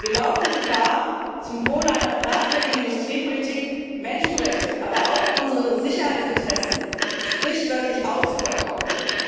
Wir laufen Gefahr, zum Wohl einer fragwürdigen Industriepolitik, Menschenrechte, aber auch unsere Sicherheitsinteressen, sprichwörtlich auszuverkaufen.